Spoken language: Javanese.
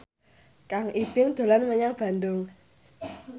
Kang Ibing dolan menyang Bandung